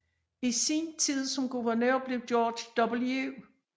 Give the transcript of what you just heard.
I sin tid som guvernør blev George W